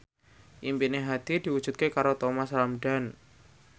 impine Hadi diwujudke karo Thomas Ramdhan